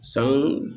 San